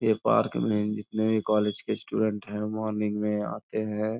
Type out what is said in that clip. ये पार्क में जितने भी कॉलेज के स्टूडेंट् हैं मोर्निंग में आते है।